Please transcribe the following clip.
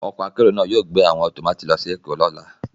Ọkọ akérò náà yóò gbé àwọn tọ́màtí lọ sí Èkó lọ́la